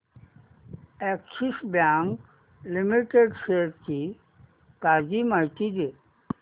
Axis Bank Limited shares ची ताजी माहिती दे